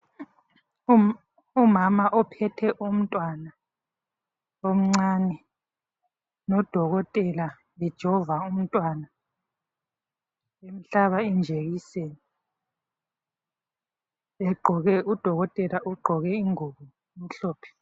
Umama ophethe umntwana omncane. Nodokotela ejova umntwana, emhlaba injekiseni, egqoke, udokotela ugqoke ingubo, emhlophe.